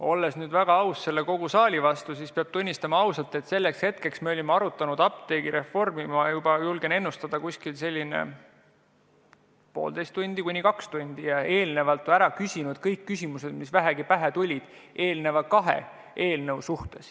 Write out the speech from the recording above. Olles väga aus kogu selle saali vastu, pean ausalt tunnistama, et selleks hetkeks me olime arutanud apteegireformi juba, julgen öelda, poolteist kuni kaks tundi ja eelnevalt ära küsinud kõik küsimused, mis vähegi pähe tulid kahe eelnõu kohta.